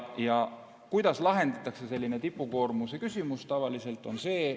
Ja kuidas lahendatakse selline tipukoormuse küsimus tavaliselt?